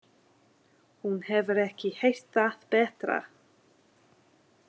Hún hefur ekki heyrt það betra.